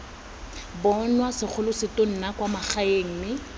bonwa segolosetonna kwa magaeng mme